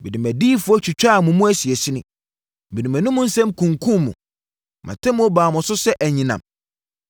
Mede mʼadiyifoɔ twitwaa mo mu asinasini, mede mʼanum nsɛm kunkumm mo; mʼatemmuo baa mo so sɛ anyinam.